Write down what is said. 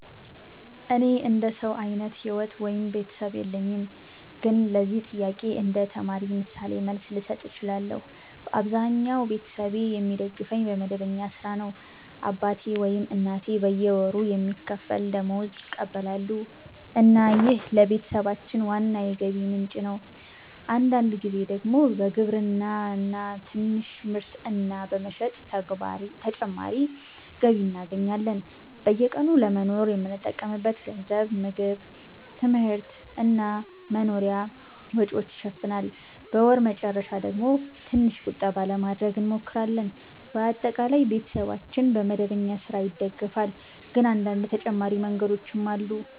እኔ እንደ ሰው አይነት ሕይወት ወይም ቤተሰብ የለኝም፣ ግን ለዚህ ጥያቄ እንደ ተማሪ ምሳሌ መልስ ልሰጥ እችላለሁ። በአብዛኛው ቤተሰቤ የሚደግፈኝ በመደበኛ ሥራ ነው። አባቴ ወይም እናቴ በየወሩ የሚከፈል ደመወዝ ይቀበላሉ እና ይህ ለቤተሰባችን ዋና የገቢ ምንጭ ነው። አንዳንድ ጊዜ ደግሞ በግብርና ትንሽ ምርት እና በመሸጥ ተጨማሪ ገቢ እናገኛለን። በየቀኑ ለመኖር የምንጠቀምበት ገንዘብ ምግብ፣ ትምህርት እና መኖሪያ ወጪዎችን ይሸፍናል። በወር መጨረሻ ደግሞ ትንሽ ቁጠባ ለማድረግ እንሞክራለን። በአጠቃላይ ቤተሰባችን በመደበኛ ሥራ ይደገፋል፣ ግን አንዳንድ ተጨማሪ መንገዶችም አሉ።